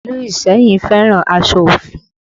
Ìlú Iseyin fẹ́ràn aṣọ ofi